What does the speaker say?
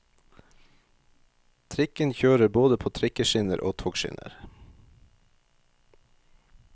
Trikken kjører både på trikkeskinner og togskinner.